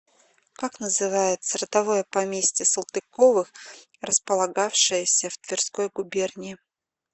как называется родовое поместье салтыковых располагавшееся в тверской губернии